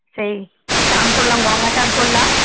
সেই চান করলাম গঙ্গা চান করলাম